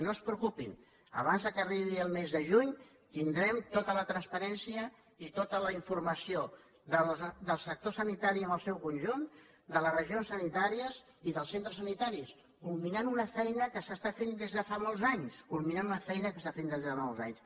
no es preocupin abans que arribi el mes de juny tindrem tota la transparència i tota la informació del sector sanitari en el seu conjunt de les regions sanitàries i dels centres sanitaris culminant una feina que s’està fent des de fa mols anys culminant una feina que s’està fent des de fa molts anys